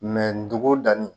dugu danni